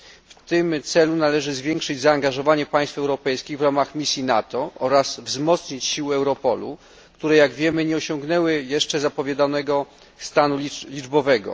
W tym celu należy zwiększyć zaangażowanie państw europejskich w ramach misji NATO oraz wzmocnić siły Europolu, które, jak wiemy, nie osiągnęły jeszcze zapowiadanego stanu liczbowego.